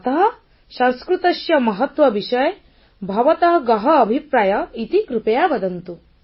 ଅତଃ ସଂସ୍କୃତସ୍ୟ ମହତ୍ୱ ବିଷୟେ ଭବତଃ ଗହଃ ଅଭିପ୍ରାୟଃ ଇତି କୃପୟା ବଦନ୍ତୁ